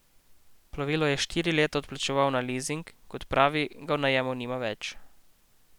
Plovilo je štiri leta odplačeval na lizing, kot pravi, ga v najemu nima več.